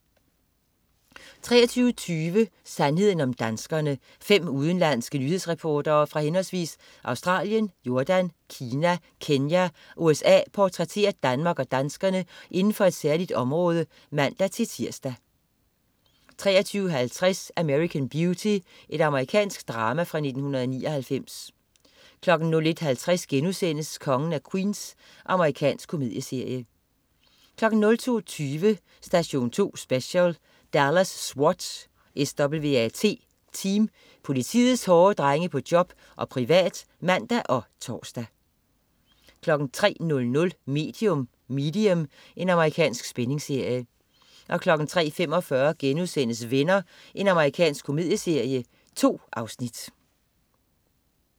23.20 Sandheden om danskerne. Fem udenlandske nyhedsreportere fra henholdsvis Australien, Jordan, Kina, Kenya og USA portrætterer Danmark og danskerne inden for et særligt område (man-tirs) 23.50 American Beauty. Amerikansk drama fra 1999 01.50 Kongen af Queens.* Amerikansk komedieserie 02.20 Station 2 Special: Dallas SWAT Team. Politiets hårde drenge på job og privat (man og tors) 03.00 Medium. Amerikansk spændingsserie 03.45 Venner.* Amerikansk komedieserie. 2 afsnit